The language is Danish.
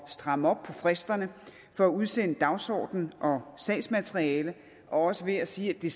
stramme op på fristerne for at udsende dagsorden og sagsmateriale og også ved at sige at det